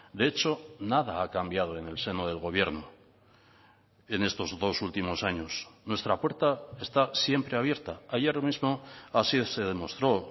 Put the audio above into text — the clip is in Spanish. de hecho nada ha cambiado en el seno del gobierno en estos dos últimos años nuestra puerta está siempre abierta ayer mismo así se demostró